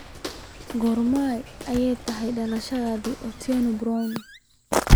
Goorma ayay tahay dhalashadii Otile Brown?